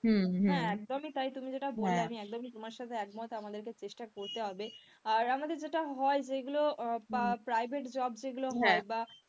হ্যাঁ একদমই তাই তুমি যেটা বললে আমি একদমই তোমার সাথে একমত আমাদেরকে চেষ্টা করতে হবে আর আমাদের যেটা হয় যেগুলো private job যেগুলো হয় বা,